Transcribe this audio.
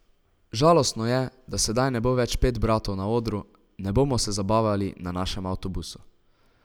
Žalostno je, da sedaj ne bo več pet bratov na odru, ne bomo se zabavali na našem avtobusu ...